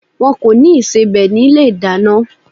Wọ́n kò ní ìsebẹ̀ ní ilé-ìdáná.